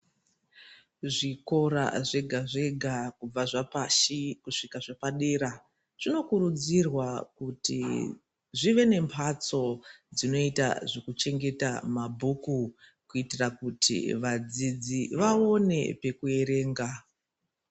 Zvikora zvega zvega kubva zvapashi kusvika zvepadera zvinokurudzirwa kuti zvive nemhatso dzinoita zvekuchengeta mabhuku kuitira kuti vadzirai vaonewo kuerenga.